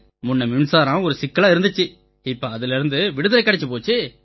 முன்ன மின்சாரம் ஒரு சிக்கலா இருந்திச்சு இப்ப அதிலேர்ந்து விடுதலை கிடைச்சுப் போச்சு